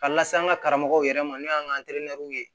Ka lase an ka karamɔgɔw yɛrɛ ma n'o y'an ka